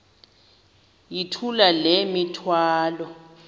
yithula le mithwalo